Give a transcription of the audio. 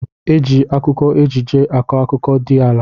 Eji akụkọ ejije akọ akụkọ di ala.